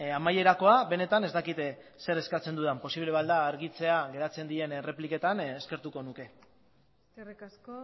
amaierakoa benetan ez dakit zer eskatzen dudan posible bada argitzea geratzen diren errepliketan eskertuko nuke eskerrik asko